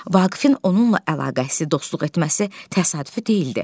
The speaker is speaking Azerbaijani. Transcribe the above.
Vaqifin onunla əlaqəsi, dostluq etməsi təsadüfi deyildi.